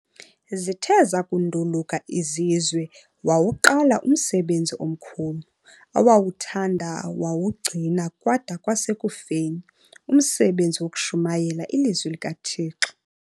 Zithe zakunduluka izizwe wawuqala umsebenzi omkhulu, awawuthanda wawugcina kwada kwasekufeni, umsebenzi wokushumayela iLizwi likaThixo.